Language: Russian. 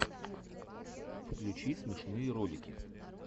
включи смешные ролики